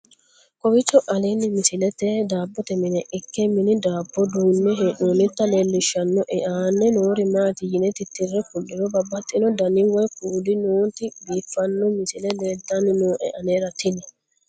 kowiicho aleenni misilettini daabbote mine ikke mine daabbo duunne hee'noonnita leelishshannoe aana noori maati yine titire kulliro babaxino dani woy kuuli nooti biiffanno misile leeltanni nooe anera tino